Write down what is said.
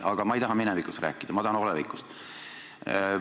Aga ma ei taha minevikust rääkida, ma tahan olevikust rääkida.